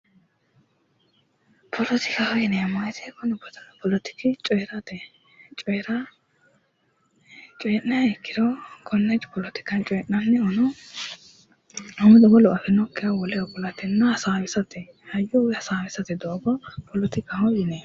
Poletikaho yineemmo woyte poletihu coyrate coyra coyi'niha ikkiro konne poletika coyi'nannihuno wolu afinokkiha woleho kulate hasaawisate hayyo woy hasaawisate doogo poletikkaho yineemmo